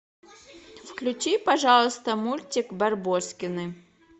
включи пожалуйста мультик барбоскины